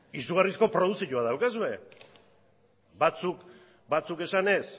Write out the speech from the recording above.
izugarrizko produkzioa daukazue batzuk esanez